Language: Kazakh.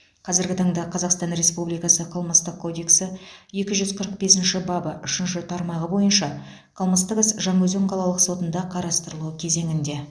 қазіргі таңда қазақстан республикасы қылмыстық кодексі екі жүз қырық бесінші бабы үшінші тармағы бойынша қылмыстық іс жаңаөзен қалалық сотында қарастырылу кезеңінде